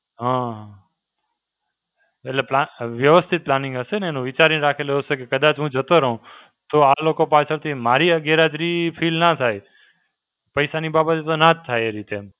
હાં એટલે plus, વ્યવસ્થિત planning હશેને એનું. વિચારીને રાખેલું હશે કે કદાચ હું જતો રહું, તો આ લોકો પાછળથી મારી આ ગેરહાજરી feel ના થાય. પૈસાની બાબતમાં ના જ થાય એ રીતે એમ.